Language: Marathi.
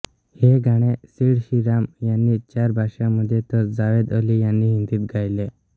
हे गाणे सिड श्रीराम यांनी चार भाषांमध्ये तर जावेद अली यांनी हिंदीत गायले